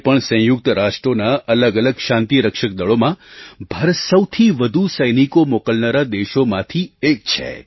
આજે પણ સંયુક્ત રાષ્ટ્રોના અલગઅલગ શાંતિ રક્ષક દળોમાં ભારત સૌથી વધુ સૈનિકો મોકલનારા દેશોમાંથી એક છે